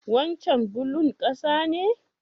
Wancen bulon ƙasa ne?